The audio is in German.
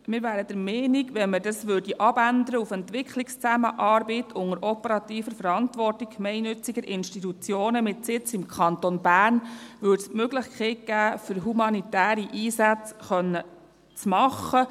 Wir wären der Meinung, wenn man das auf «Entwicklungszusammenarbeit unter operativer Verantwortung gemeinnütziger Institutionen mit Sitz im Kanton Bern» abändern würde, böte es die Möglichkeit, humanitäre Einsätze machen zu können.